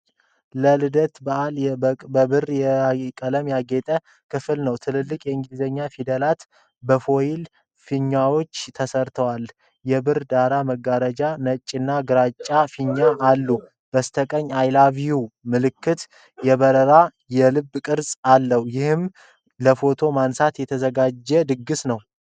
ለልደት በዓል በብር ቀለም ያጌጠ ክፍል ነው። ትልልቅ የእንግሊዘኛ ፊደላት በፎይል ፊኛዎች ተሠርተዋል። የብር ዳራ መጋረጃዎችና ነጭና ግራጫ ፊኛዎች አሉ። በስተቀኝ በ"I love U" መልክ የበራ የልብ ቅርጽ አለ። ይህም ለፎቶ ማንሳት የተዘጋጀ ድግስ ነው።